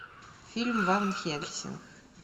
фильм ван хельсинг